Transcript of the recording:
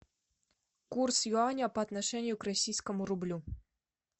курс юаня по отношению к российскому рублю